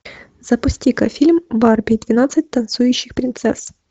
запусти ка фильм барби двенадцать танцующих принцесс